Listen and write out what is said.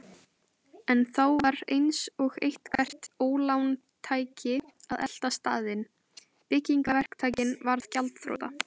En þá var eins og eitthvert ólán tæki að elta staðinn: Byggingaverktakinn varð gjaldþrota.